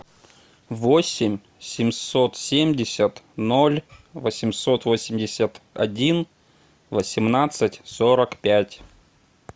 восемь семьсот семьдесят ноль восемьсот восемьдесят один восемнадцать сорок пять